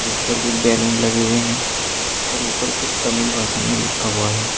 इस पर कुछ बैलून लगे हुए हैं और ऊपर कुछ तमिल भाषा में लिखा हुआ है।